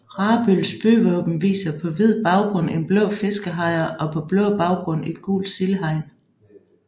Rabøls byvåben viser på hvid baggrund en blå fiskehejre og på blå baggrund et gult sildehegn